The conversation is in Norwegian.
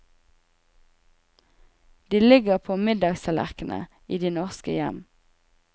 De ligger på middagstallerknene i de norske hjem.